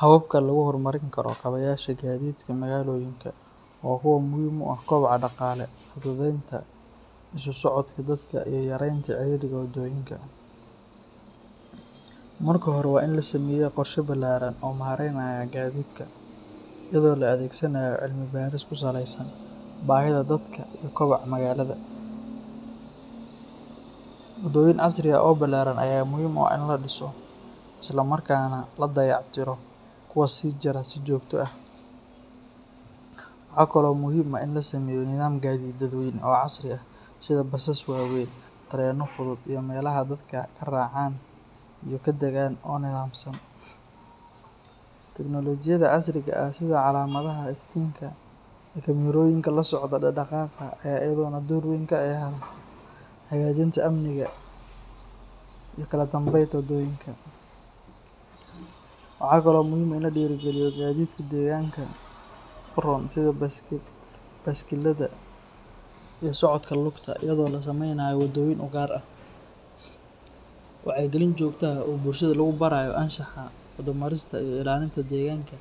Hababka lagu horumarin karo kabayaasha gaadiidka magaalooyinka waa kuwo muhiim u ah koboca dhaqaale, fududeynta isu socodka dadka iyo yareynta ciriiriga waddooyinka. Marka hore, waa in la sameeyaa qorshe ballaaran oo maareynaya gaadiidka, iyadoo la adeegsanayo cilmi-baaris ku saleysan baahida dadka iyo kobaca magaalada. Waddooyin casri ah oo ballaaran ayaa muhiim u ah in la dhiso, isla markaana la dayactiro kuwa jira si joogto ah. Waxaa kaloo muhiim ah in la sameeyo nidaam gaadiid dadweyne oo casri ah sida basas waaweyn, tareenno fudud iyo meelaha dadka ka raacaan iyo ka dagaan oo nidaamsan. Teknolojiyadda casriga ah sida calaamadaha iftiinka iyo kaamirooyinka la socda dhaqdhaqaaqa ayaa iyaduna door weyn ka ciyaarta hagaajinta amniga iyo kala dambeynta waddooyinka. Waxaa kale oo muhiim ah in la dhiirrigeliyo gaadiidka deegaanka u roon sida baaskiilada iyo socodka lugta, iyadoo la sameynayo waddooyin u gaar ah. Wacyigelin joogto ah oo bulshada lagu barayo anshaxa waddo marista iyo ilaalinta deegaanka